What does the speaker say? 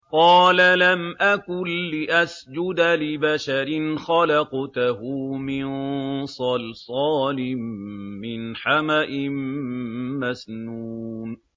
قَالَ لَمْ أَكُن لِّأَسْجُدَ لِبَشَرٍ خَلَقْتَهُ مِن صَلْصَالٍ مِّنْ حَمَإٍ مَّسْنُونٍ